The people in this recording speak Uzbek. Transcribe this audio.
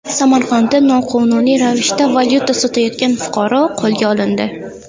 Samarqandda noqonuniy ravishda valyuta sotayotgan fuqaro qo‘lga olindi.